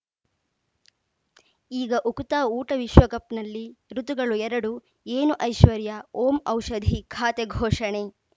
ಈಗ ಉಕುತ ಊಟ ವಿಶ್ವಕಪ್‌ನಲ್ಲಿ ಋತುಗಳು ಎರಡು ಏನು ಐಶ್ವರ್ಯಾ ಓಂ ಔಷಧಿ ಖಾತೆ ಘೋಷಣೆ